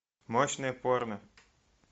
мощное порно